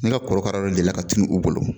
Nka kɔrɔkara dɔ delila ka tunu u bolo